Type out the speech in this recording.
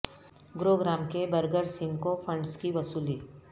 گرو gram کے Burger Singh کو funds کی وصولی